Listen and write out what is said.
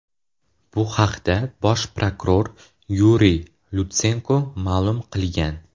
Bu haqda bosh prokuror Yuriy Lutsenko ma’lum qilgan.